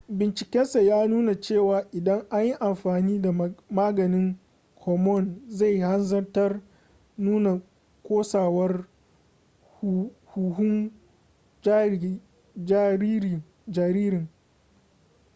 bincikensa ya nuna cewa idan an yi amfani da maganin hormone zai hanzarta nuna kosawar huhun jaririn